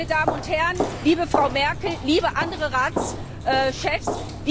Meine Damen und Herren, liebe Frau Merkel, liebe andere Ratschefs!